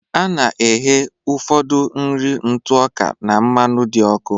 A na-ehee ụfọdụ nri ntụ ọka na mmanụ dị ọkụ